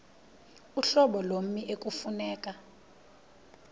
uhlobo lommi ekufuneka